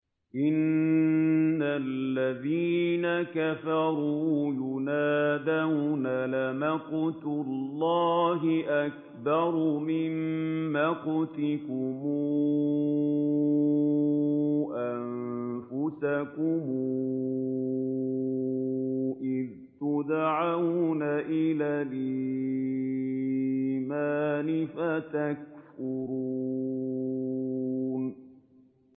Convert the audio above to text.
إِنَّ الَّذِينَ كَفَرُوا يُنَادَوْنَ لَمَقْتُ اللَّهِ أَكْبَرُ مِن مَّقْتِكُمْ أَنفُسَكُمْ إِذْ تُدْعَوْنَ إِلَى الْإِيمَانِ فَتَكْفُرُونَ